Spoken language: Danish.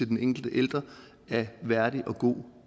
den enkelte ældre af værdig og god